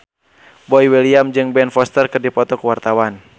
Boy William jeung Ben Foster keur dipoto ku wartawan